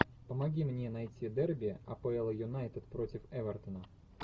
помоги мне найти дерби апл юнайтед против эвертона